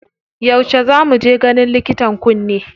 Yauce za mu je ganin likitan kunne?